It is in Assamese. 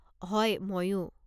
হয়, মইও।